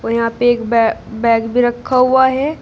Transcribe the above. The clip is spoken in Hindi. यहां पे एक बै बैग भी रखा हुआ है।